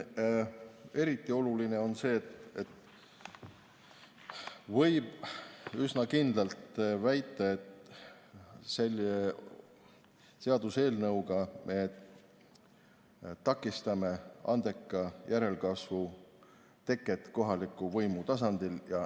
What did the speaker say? Eriti oluline on see, et võib üsna kindlalt väita, et selle seaduseelnõuga me takistame andeka järelkasvu teket kohaliku võimu tasandil.